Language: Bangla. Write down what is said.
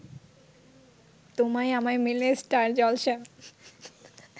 তোমায় আমায় মিলে স্টার জলসা